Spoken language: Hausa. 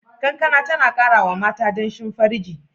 Kankana tana kara wa mata danshin farji.